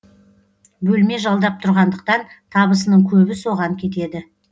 бөлме жалдап тұрғандықтан табысының көбі соған кетеді